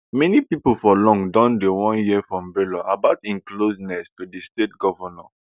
many pipo for long don dey wan hear from bello about im closeness to di state governor